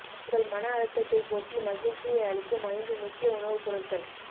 உங்கள் மன அழுத்ததை போக்கி மகிழ்ச்சியை அளிக்கும் ஐந்து முக்கிய உணவுப் பொருட்கள்